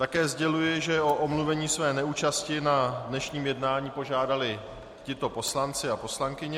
Také sděluji, že o omluvení své neúčasti na dnešním jednání požádali tito poslanci a poslankyně.